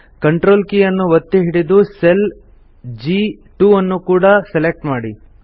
CTRL key ಅನ್ನು ಒತ್ತಿ ಹಿಡಿದು ಸೆಲ್ ಜಿ2 ಅನ್ನು ಕೂಡ ಸೆಲೆಕ್ಟ್ ಮಾಡಿ